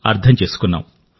అర్థం చేసుకున్నాం